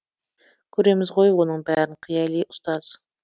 көреміз ғой оның бәрін қияли ұстаз